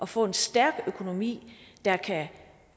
få en stærk økonomi der kan